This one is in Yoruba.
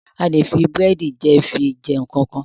A lè fi búrẹ̀dì jẹ fi jẹ nkankan.